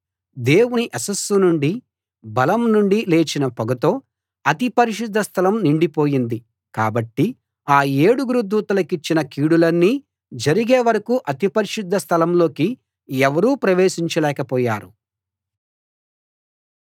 దేవుని యశస్సు నుండీ బలం నుండీ లేచిన పొగతో అతి పరిశుద్ధ స్థలం నిండిపోయింది కాబట్టి ఆ ఏడుగురు దూతలకిచ్చిన కీడులన్నీ జరిగే వరకూ అతి పరిశుద్ధ స్థలంలోకి ఎవరూ ప్రవేశించలేకపోయారు